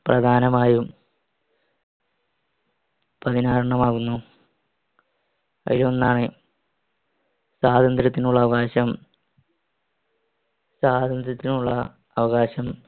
പ്രധാനമായും പത്തിനാറെണ്ണമാകുന്നു. അയിലൊന്നാണ് സ്വാതന്ത്യ്രത്തിനുള്ള അവകാശം സ്വാതന്ത്യ്രത്തിനുള്ള അവകാശം.